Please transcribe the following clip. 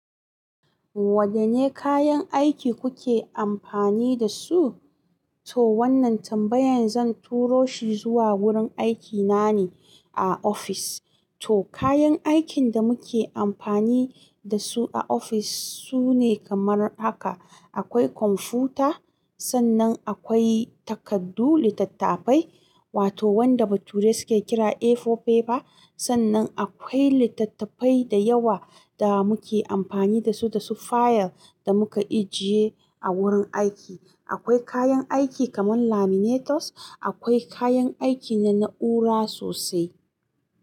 Wadanne kayan aiki kuke amfani da su? To wanna tambayan zan turo shi zuwa gurin aikina ne a ofis to kayan aikin da muke amfani da su a ofis sune kamar haka, akwai kwamfuta, sannan akwai takardu, littattafai, wato wanda ba turai suke kira A4 paper ba, sannan akwai littattafai da yawa da muke amfani da su da su fayil da muka ajiye a wurin aiki. Akwai kayan aiki kamar laminators, akwai kayan aiki na na'ura sosai.